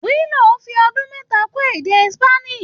Willow fi ọdún mẹ́ta kọ́ èdè Spanish.